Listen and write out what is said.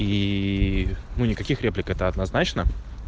ии ну никаких реплик это однозначно